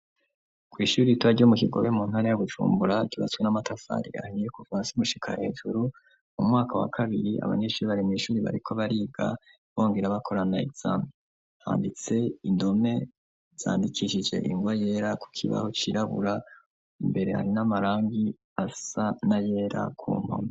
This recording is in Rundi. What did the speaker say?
Kw'ishure ritoya ryo mu kigobe mu ntara ya Bujumbura kibatswe n'amatafari yahniye kuvan simushika hejuru mu mwaka wa kabiri abanyeshuri barema ishuri bariko bariga bongira bakorana itzan handitse indome zandikishije ingwa yera ku kibaho kirabura imbere hari n'amarangi asa na yera ku mam